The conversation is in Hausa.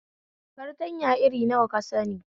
Fartanya irin nawa ka sani?